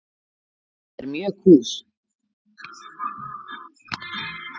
Það er mjög kúl.